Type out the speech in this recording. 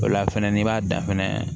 O la fɛnɛ n'i b'a dan fɛnɛ